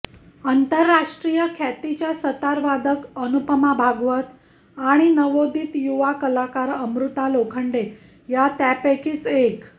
आंतरराष्ट्रीय ख्यातीच्या सतारवादक अनुपमा भागवत आणि नवोदित युवा कलाकार अमृता लोखंडे या त्यापैकीच एक